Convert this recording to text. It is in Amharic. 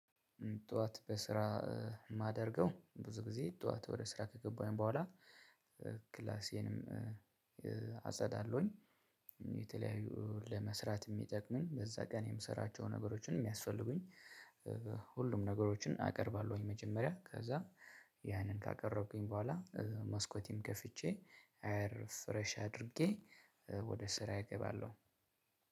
ጠዋት በስራ የማደርገው ብዙ ጊዜ ጠዋት ወደ ስራ ከገባኝ በኋላ ክላሴንም አጸዳለሁኝ፣ የተለያዩ ለመስራት የሚጠቅሙ በዛ ቀን የምሰራቸውን ነገሮችን የሚያስፈልጉኝ ሁሉም ነገሮችን አቀርባለሁኝ። መጀመሪያ ከዛ ያንን ካቀረብኩኝ በኋላ መስኮቴን ከፍቼ አየር ፍረሽ አድርጌ ወደ ስራዬ እገባለሁ።